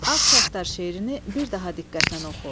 Ağ saçlar şeirini bir daha diqqətlə oxu.